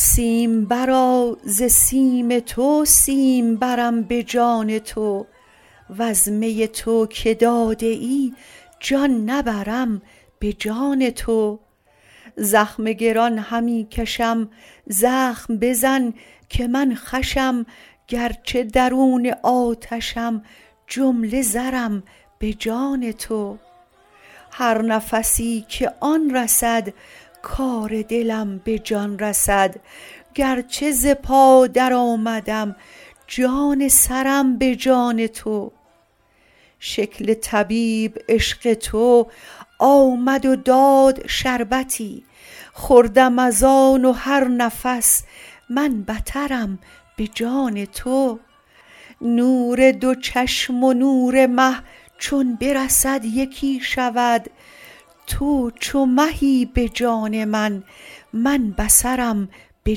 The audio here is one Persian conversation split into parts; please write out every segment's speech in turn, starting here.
سیمبرا ز سیم تو سیمبرم به جان تو وز می نو که داده ای جان نبرم به جان تو زخم گران همی کشم زخم بزن که من خوشم گرچه درون آتشم جمله زرم به جان تو هر نفسی که آن رسد کار دلم به جان رسد گرچه ز پا درآمدم جان سرم به جان تو شکل طبیب عشق تو آمد و داد شربتی خوردم از آن و هر نفس من بترم به جان تو نور دو چشم و نور مه چون برسد یکی شود تو چو مهی به جان من من بصرم به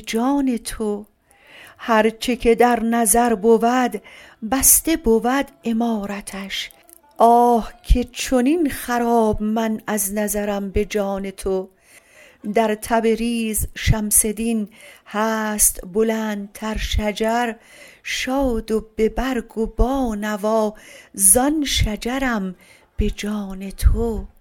جان تو هر چه که در نظر بود بسته بود عمارتش آه که چنین خراب من از نظرم به جان تو در تبریز شمس دین هست بلندتر شجر شاد و به برگ و با نوا زان شجرم به جان تو